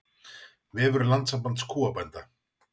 Vefur Landssambands kúabænda